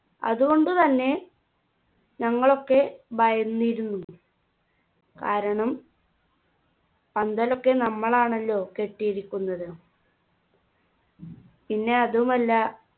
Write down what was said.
അതുകൊണ്ടു തന്നെ ഞങ്ങളൊക്കെ ഭയന്നിരുന്നു കാരണം പന്തലൊക്കെ നമ്മളാണല്ലോ കെട്ടിയിരിക്കുന്നത് പിന്നെ അതുമല്ല